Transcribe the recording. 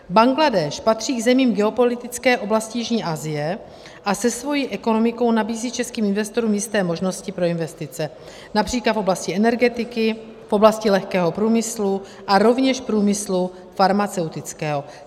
Bangladéš patří k zemím geopolitické oblasti jižní Asie a se svou ekonomikou nabízí českým investorům jisté možnosti pro investice, například v oblasti energetiky, v oblasti lehkého průmyslu a rovněž průmyslu farmaceutického.